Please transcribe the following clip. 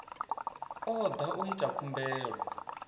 o da u ita khumbelo